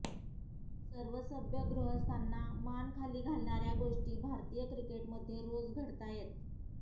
सर्व सभ्य गृहस्थांना मान खाली घालणाऱ्या गोष्टी भारतीय क्रिकेटमध्ये रोज घडतायत